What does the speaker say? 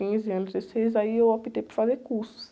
Quinze anos, dezesseis anos aí eu optei por fazer cursos.